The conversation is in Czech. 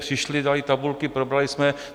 Přišli, dali tabulky, probrali jsme.